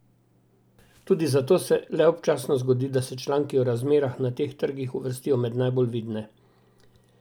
Tudi zato se le občasno zgodi, da se članki o razmerah na teh trgih uvrstijo med najbolj vidne.